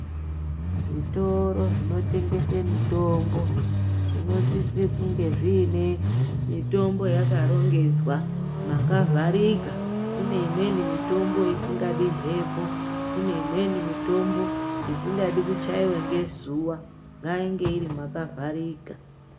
Zvitoro zvinotengese mitombo , zvinosise kunge zviine mitombo yakarongedzwa makavharika. Kune imweni mitombo isingadi mphepo, kune imweni mitombo ,isingadi kuchaiwe ngezuwa. Ngainge iri makavharika.